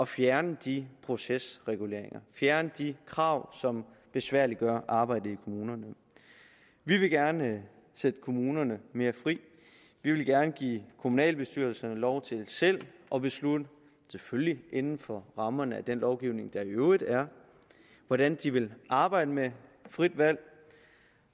fjerne de procesreguleringer at fjerne de krav som besværliggør arbejdet i kommunerne vi vil gerne sætte kommunerne mere fri vi vil gerne give kommunalbestyrelserne lov til selv at beslutte selvfølgelig inden for rammerne af den lovgivning der i øvrigt er hvordan de vil arbejde med frit valg